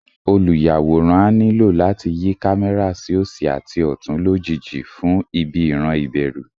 Olùyàwòrán á nílò láti yí kámẹ́rà sí òsì àti ọ̀tún lójijì fún ibi ìran ìbẹ̀rù